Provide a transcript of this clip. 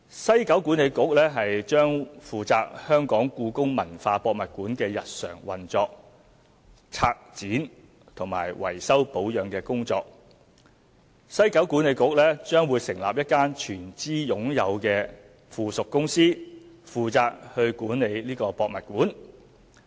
西九管理局將負責故宮館的日常運作、策展和維修保養工作，西九管理局將成立一間全資擁有的附屬公司負責管理博物館。